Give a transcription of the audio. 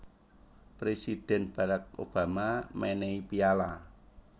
Presidhen Barrack Obama menehi piyala